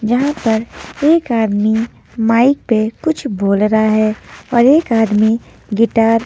यहां पर एक आदमी माइक पे कुछ बोल रहा है और एक आदमी गिटार --